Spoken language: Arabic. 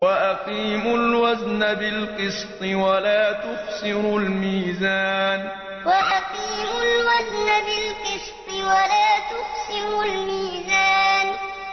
وَأَقِيمُوا الْوَزْنَ بِالْقِسْطِ وَلَا تُخْسِرُوا الْمِيزَانَ وَأَقِيمُوا الْوَزْنَ بِالْقِسْطِ وَلَا تُخْسِرُوا الْمِيزَانَ